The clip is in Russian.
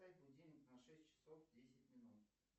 поставь будильник на шесть часов десять минут